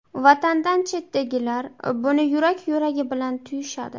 Vatandan chetdagilar buni yurak-yuragi bilan tuyishadi.